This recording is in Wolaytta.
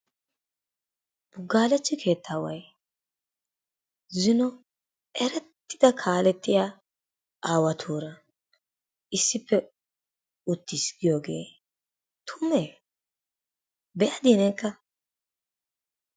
Buggaalechchi keettaaway zino erettida kaalettiya aawatuura issippe uttiis giyogee tumee? be'adii neekka?